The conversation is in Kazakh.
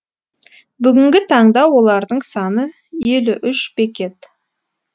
бүгінгі таңда олардың саны елу үш бекет